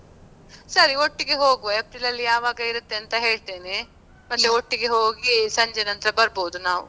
ಸರಿ ಒಟ್ಟಿಗೆ ಹೋಗುವ, ಏಪ್ರಿಲ್ ಅಲ್ಲಿ ಯಾವಾಗ ಇರುತ್ತೆ ಅಂತ ಹೇಳ್ತೇನೆ. ಮತ್ತೆ ಒಟ್ಟಿಗೆ ಹೋಗಿ ಸಂಜೆ ನಂತ್ರ ಬರ್ಬೋದು ನಾವ್.